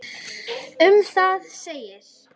Um það segir: